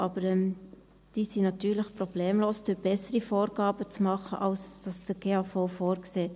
Aber die sind natürlich problemlos durch bessere Vorgaben zu machen, als es der GAV vorsieht.